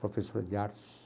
Professora de artes.